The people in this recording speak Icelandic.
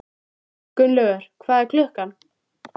Gunnlaugur, hvað er klukkan?